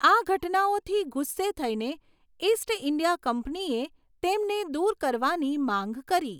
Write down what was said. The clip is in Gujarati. આ ઘટનાઓથી ગુસ્સે થઈને, ઈસ્ટ ઈન્ડિયા કંપનીએ તેમને દૂર કરવાની માંગ કરી.